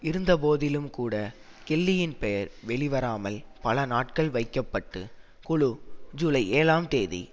இருந்தபோதிலும்கூட கெல்லியின் பெயர் வெளிவராமல் பல நாட்கள் வைக்க பட்டு குழு ஜூலை ஏழாம் தேதி